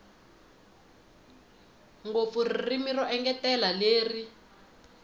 ngopfu ririmi ro engetela leri